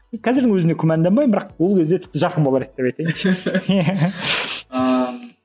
қазірдің өзінде күмәнданбаймын бірақ ол кезде тіпті жақын болар еді деп айтайыншы ыыы